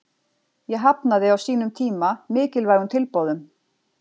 Ég hafnaði á sínum tíma mikilvægum tilboðum.